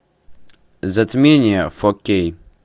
затмение фо кей